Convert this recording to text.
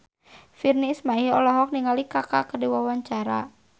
Virnie Ismail olohok ningali Kaka keur diwawancara